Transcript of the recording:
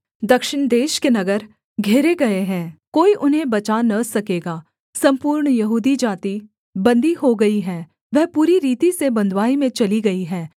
दक्षिण देश के नगर घेरे गए हैं कोई उन्हें बचा न सकेगा सम्पूर्ण यहूदी जाति बन्दी हो गई है वह पूरी रीति से बँधुआई में चली गई है